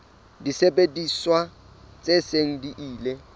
disebediswa tse seng di ile